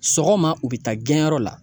Sɔgɔma u bɛ taa gɛn yɔrɔ la.